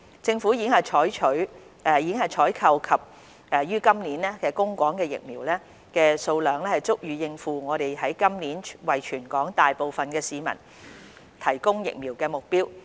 政府已經採購及於今年供港的疫苗，數量足以應付我們於今年為全港大部分市民提供疫苗的目標。